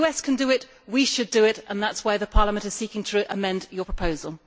If the US can do it, we should do it, and that is why Parliament is seeking to amend this proposal.